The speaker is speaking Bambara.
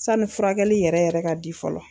Sanni furakɛli yɛrɛ yɛrɛ ka di fɔlɔ.